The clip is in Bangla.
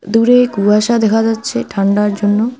দূরে কুয়াশা দেখা যাচ্ছে ঠান্ডার জন্য।